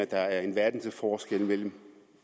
der er en verden til forskel